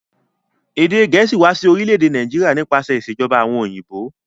Èdè gẹ̀ẹ̀síì wa si orílẹ̀dè Naijiria nípasẹ̀ ìsèjoba àwon òyìnbó